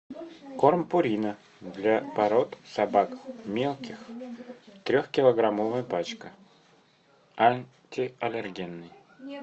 корм пурина для пород собак мелких трехкилограммовая пачка антиаллергенный